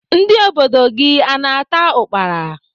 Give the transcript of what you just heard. Ndị obodo gị a na-ata ukpala?